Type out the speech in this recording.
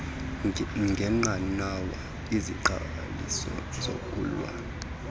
ngenqanawa iziqheliso zokulwa